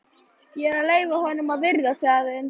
Ég er að leyfa honum að viðra sig aðeins.